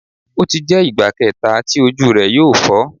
O ti jẹ igba kẹta ti oju rẹ yoo fọ